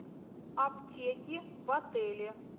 аптеки в отеле